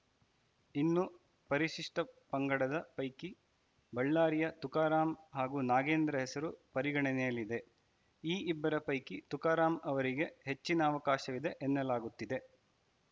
ಇನ್ನು ಪರಿಶಿಷ್ಟಪಂಗಡದ ಪೈಕಿ ಬಳ್ಳಾರಿಯ ತುಕಾರಾಂ ಹಾಗೂ ನಾಗೇಂದ್ರ ಹೆಸರು ಪರಿಗಣನೆಯಲ್ಲಿದೆ ಈ ಇಬ್ಬರ ಪೈಕಿ ತುಕಾರಾಂ ಅವರಿಗೆ ಹೆಚ್ಚಿನ ಅವಕಾಶವಿದೆ ಎನ್ನಲಾಗುತ್ತಿದೆ